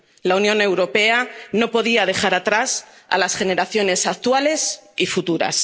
La Unión Europea no podía dejar atrás a las generaciones actuales y futuras.